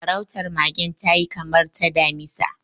Farautar magen ta yi kamar ta damisa.